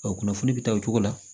kunnafoni bɛ ta o cogo la